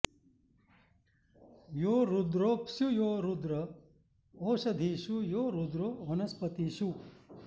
यो रुद्रोऽप्सु यो रुद्र ओषधीषु यो रुद्रो वनस्पतिषु